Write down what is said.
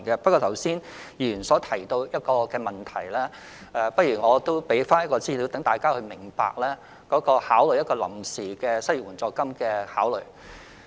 不過，就議員剛才提到的問題，我希望引述一些資料，讓大家明白推行臨時失業援助金的考慮。